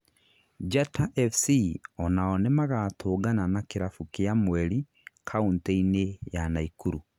Njata FC onao nĩmagatũngana na kĩrabu kia mweri, countĩ- inĩ ya Naikuru